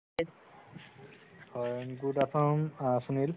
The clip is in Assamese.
হয় good afternoon সুনিল